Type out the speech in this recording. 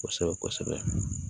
Kosɛbɛ kosɛbɛ